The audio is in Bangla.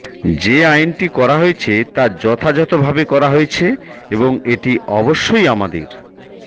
যে আইনটি করা হয়েছে তা যথাযথভাবে করা হয়েছে এবং এটি অবশ্যই আমাদের